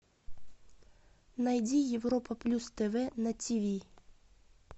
найди европа плюс тв на тиви